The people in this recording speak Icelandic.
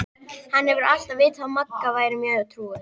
Hann hefur alltaf vitað að Magga væri mjög trúuð.